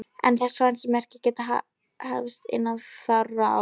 Er þess vænst að verkið geti hafist innan fárra ára.